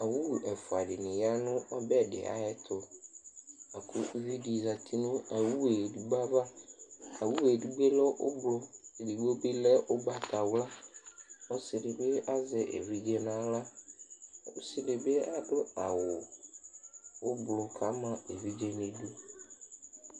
owu ɛfua di ni ya no ɔbɛ di ayɛto lako uvi di zati no owue edigbo ava owue edigbo lɛ ublɔ edigbo bi lɛ ugbata wla ɔse di bi azɛ evidze n'ala ɔse di bi ado awu ublɔ k'ama evidze n'idu